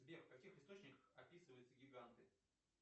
сбер в каких источниках описываются гиганты